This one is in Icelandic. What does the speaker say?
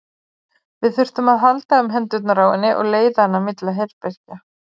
Við þurftum að halda um hendurnar á henni og leiða hana milli herbergja.